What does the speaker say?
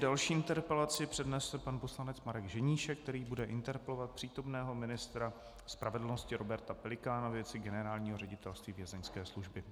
Další interpelaci přednese pan poslanec Marek Ženíšek, který bude interpelovat přítomného ministra spravedlnosti Roberta Pelikána ve věci Generálního ředitelství Vězeňské služby.